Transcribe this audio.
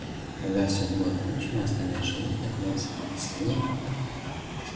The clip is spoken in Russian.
когда все было кончено остальные животные кроме собак и свиней